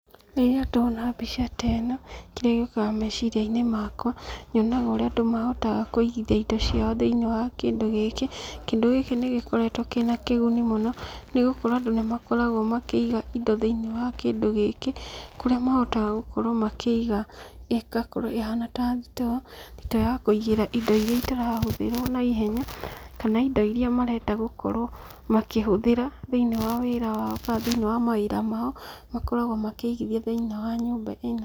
Rĩrĩa ndona mbica ta ĩno, kĩrĩa gĩũkaga meciriainĩ makwa, nyonaga ũrĩa andũ mahotaga kũigithia indo ciao thĩinĩ wa kĩndũ gĩkĩ, kĩndũ gĩkĩ nĩgĩkoretũo kĩna kĩguni mũno, nĩgũkorũo andũ nĩmakoragũo makĩiga indo thĩinĩ wa kĩndũ gĩkĩ, kũrĩa mahotaga gũkorũo makĩiga, ĩgakorũo ĩhana ta thito, thito ya kũigĩra indo iria itarahũthĩrũo naihenya, kana indo iria marenda gũkorũo, makĩhũthĩra, thĩinĩ wa wĩra wao kana thĩiĩ wa mawira mao, makoragũo makĩigithia thĩinĩ wa nyũmba ĩno.